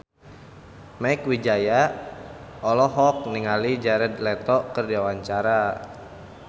Mieke Wijaya olohok ningali Jared Leto keur diwawancara